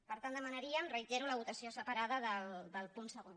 per tant demanaríem ho reitero la votació separada del punt segon